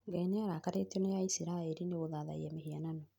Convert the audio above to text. Ngai nĩarakarĩtio na aisiraeli nĩ kũthathaiya mĩhianano